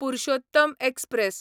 Purushottam express